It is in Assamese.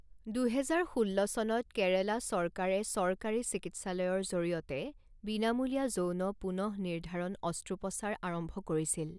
দুহেজাৰ ষোল্ল চনত, কেৰালা চৰকাৰে চৰকাৰী চিকিৎসালয়ৰ জৰিয়তে বিনামূলীয়া যৌন পুনঃনিৰ্ধাৰণ অস্ত্ৰোপচাৰ আৰম্ভ কৰিছিল।